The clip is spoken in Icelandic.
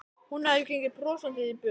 Hún hafði gengið brosandi í burt.